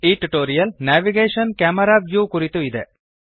ಈ tutorial navigation - camera view ಕುರಿತು ಇದೆ